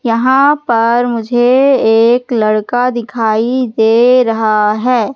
यहां पर मुझे एक लड़का दिखाई दे रहा हैं।